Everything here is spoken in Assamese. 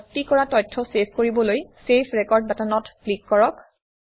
ভৰ্তি কৰা তথ্য চেভ কৰিবলৈ চেভ ৰেকৰ্ড বাটনত ক্লিক কৰক